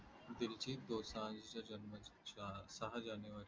दिलजीत दोसांझचा जन्म सह जानेवारी